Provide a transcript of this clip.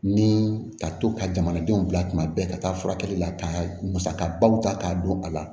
Ni ka to ka jamanadenw bila kuma bɛɛ ka taa furakɛli la ka musakabaw ta k'a dɔn a la